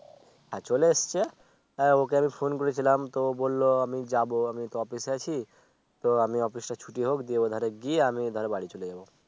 হ্যাঁ চলে এসছে হ্যাঁ ওকে আমি Phone করেছিলাম তো বলল আমি যাব আমি তো Office এ আছি তো আমি Office টা ছুটি হোক দিয়ে ওধারে গিয়ে আমি এধারে বাড়ি চলে যাব